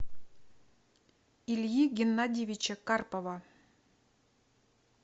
ильи геннадьевича карпова